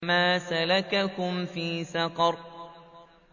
مَا سَلَكَكُمْ فِي سَقَرَ